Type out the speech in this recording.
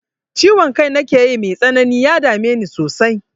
Ciwon kai nakeyi mai tsanani, ya dame ni sosai.